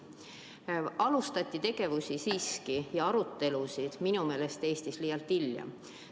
Minu meelest alustati tegevusi ja arutelusid Eestis siiski liialt hilja.